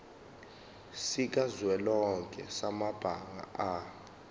sikazwelonke samabanga r